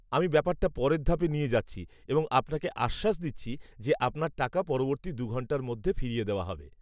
আমি ব্যাপারটা পরের ধাপে নিয়ে যাচ্ছি এবং আপনাকে আশ্বাস দিচ্ছি যে আপনার টাকা পরবর্তী দু'ঘণ্টার মধ্যে ফিরিয়ে দেওয়া হবে।